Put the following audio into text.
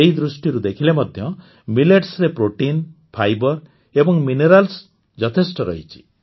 ଏହି ଦୃଷ୍ଟିରୁ ଦେଖିଲେ ମଧ୍ୟ ମିଲେଟ୍ସରେ ପ୍ରୋଟିନ ଫାଇବର ଓ ମିନେରାଲସ ଯଥେଷ୍ଟ ରହିଛି